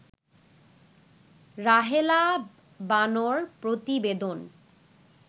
রাহেলা বানো-র প্রতিবেদন